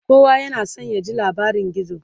kowa yana San ya ji labarin gizo